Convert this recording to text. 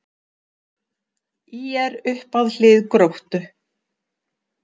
ÍR upp að hlið Gróttu